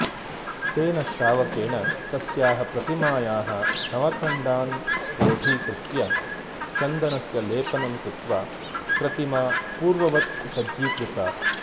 तेन श्रावकेण तस्याः प्रतिमायाः नवखण्डान् क्रोडीकृत्य चन्दनस्य लेपनं कृत्वा प्रतिमा पूर्ववत् सज्जीकृता